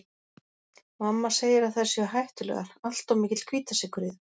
Mamma segir að þær séu hættulegar, allt of mikill hvítasykur í þeim